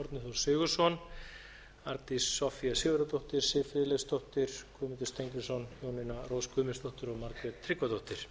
sigurðsson arndís soffía sigurðardóttir siv friðleifsdóttir guðmundur steingrímsson jónína rós guðmundsdóttir og margrét tryggvadóttir